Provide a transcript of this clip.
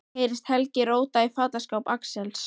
Mér heyrist Helgi róta í fataskáp Axels.